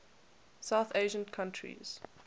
south asian countries